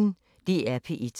DR P1